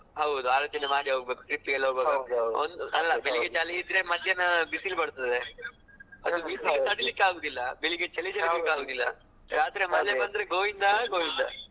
ಹೌದ್ ಹೌದು ಆಲೋಚನೆ ಮಾಡಿ ಹೋಗ್ಬೇಕ್ trip ಗೆಲ್ಲ ಹೋಗ್ವಾಗ ಅಲ್ಲ ಬೆಳ್ಳಿಗ್ಗೆ ಚಳಿ ಇದ್ರೆ ಮಧ್ಯಾಹ್ನ ಬಿಸಿಲು ಬರ್ತದೆ ಬಿಸಿಲು ತಡೀಲಿಕ್ಕೆ ಆಗುದಿಲ್ಲ ಬೆಳ್ಳಿಗ್ಗೆ ಚಳಿ ತಡೀಲಿಕ್ಕೆ ಆಗುದಿಲ್ಲ. ರಾತ್ರಿ ಮನೆಗೆ ಬಂದ್ರೆ ಗೋವಿಂದ ಗೋವಿಂದಾ.